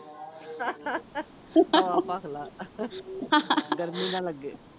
ਭੱਖ ਲਾ, ਗਰਮੀ ਨਾ ਲੱਗੇ।